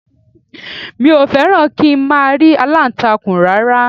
Mi ò fẹ́ràn kí n máa rí aláǹtakùn rárá